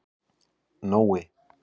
Nói